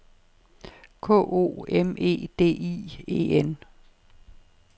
K O M E D I E N